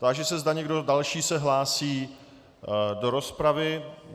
Táži se, zda někdo další se hlásí do rozpravy.